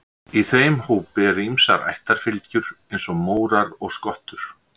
í þeim hópi eru ýmsar ættarfylgjur eins og mórar og skottur